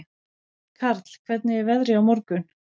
Karl, hvernig er veðrið á morgun?